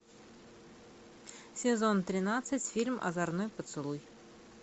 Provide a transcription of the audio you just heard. сезон тринадцать фильм озорной поцелуй